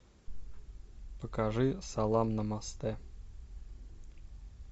покажи салам намасте